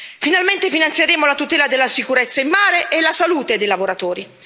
Finalmente finanzieremo la tutela della sicurezza in mare e la salute dei lavoratori.